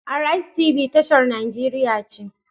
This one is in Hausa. Arise TB tashar nigeria ce.